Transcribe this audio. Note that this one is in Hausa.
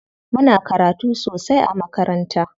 Muna karatu sosai a makaranta.